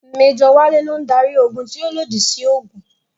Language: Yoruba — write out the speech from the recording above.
Mẹ́jọ̀ Wálé ló ń darí ogun tí ó lòdì sí òògùn